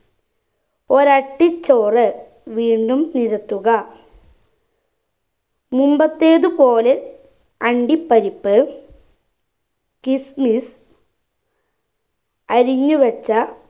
ഒരട്ടി ചോറ് വീണ്ടും നിരത്തുക മുമ്പത്തേതു പോലെ അണ്ടിപ്പരിപ്പ് kismis അരിഞ്ഞുവെച്ച